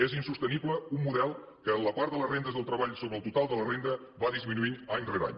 és insostenible un model que en la part de les rendes del treball sobre el total de la renda va disminuint any rere any